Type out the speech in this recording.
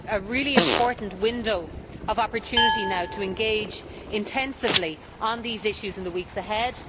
We have a really important window of opportunity now to engage intensively on these issues in the weeks ahead.